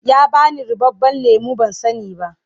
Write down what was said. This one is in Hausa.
Ya ba ni ruɓaɓɓen lemo ban sani ba.